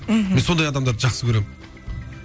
мхм мен сондай адамдарды жақсы көремін